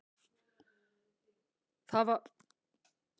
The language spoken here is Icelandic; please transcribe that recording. Það var virkilega gott.